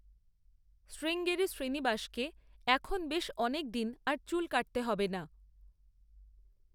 শ্রীঙ্গেরি শ্রীনিবাসকে এখন বেশ অনেকদিন আর চুল কাটতে হবে না।